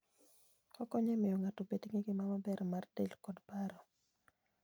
Okonyo e miyo ng'ato obed gi ngima maber mar del koda paro.